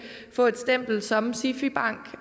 få et stempel som sifi bank